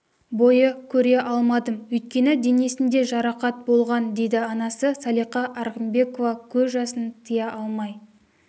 бойы көре алмадым өйткені денесінде жарақат болған дейді анасы салиха арғынбекова көз жасын тия алмай